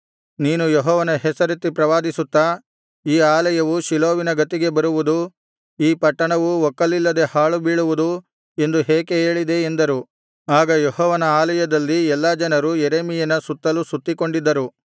ನೀನು ಯೆಹೋವನ ಹೆಸರೆತ್ತಿ ಪ್ರವಾದಿಸುತ್ತಾ ಈ ಆಲಯವು ಶಿಲೋವಿನ ಗತಿಗೆ ಬರುವುದು ಈ ಪಟ್ಟಣವು ಒಕ್ಕಲಿಲ್ಲದೆ ಹಾಳುಬೀಳುವುದು ಎಂದು ಏಕೆ ಹೇಳಿದೆ ಎಂದರು ಆಗ ಯೆಹೋವನ ಆಲಯದಲ್ಲಿ ಎಲ್ಲಾ ಜನರು ಯೆರೆಮೀಯನ ಸುತ್ತಲು ಸುತ್ತಿಕೊಂಡಿದ್ದರು